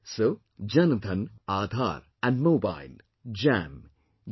So Jan Dhan, Aadhar and Mobile Jam J